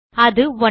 அது 9